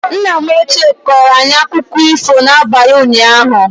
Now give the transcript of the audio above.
Nna m ochie kọrọ anyị akụkọ ifo n'abalị unyaahu